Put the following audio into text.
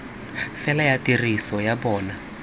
fela ya tiriso ya bona